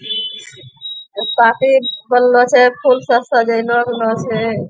एक पाटी बनलो छै फूल सब सजैलो गेलो छै।